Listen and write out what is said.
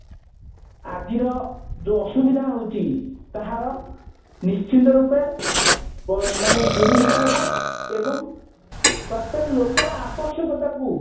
ଆଜିର ଯୋଉ ଅସୁବିଧା ହଉଛି ତାହା ନିଶ୍ଚିନ୍ତ ରୂପେ ଦୂରୀଭୂତ ହେବ ଏବଂ ପ୍ରତ୍ଯେକ ଲୋକର ଆବଶ୍ୟକତା କୁ